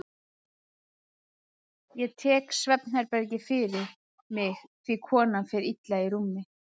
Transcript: Ég tek svefnherbergið fyrir mig því konan fer illa í rúmi.